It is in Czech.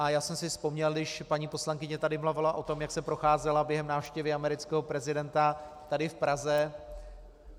A já jsem si vzpomněl, když paní poslankyně tady mluvila o tom, jak se procházela během návštěvy amerického prezidenta tady v Praze...